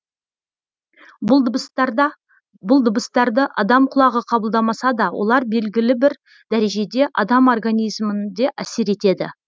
бұл дыбыстарды адам құлағы қабылдамаса да олар белгілі бір дәрежеде адам организмінде әсер етеді